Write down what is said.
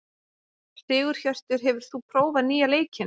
Sigurhjörtur, hefur þú prófað nýja leikinn?